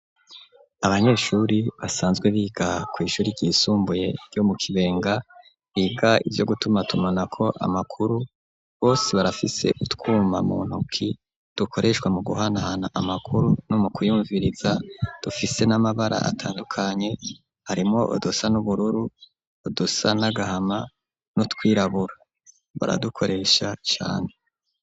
Abanyeshuri basanzwe biga kw'ishuri ryisumbuye yo mu kibenga, biga ivyo gutuma tumona ko amakuru, bose barafise utwuma mu ntoki dukoreshwa mu guhanahana amakuru no mu kuyumviriza, dufise n'amabara atandukanye harimwo udusa n'ubururu, udusa n'agahama, nutwirabura baradukoresha cane.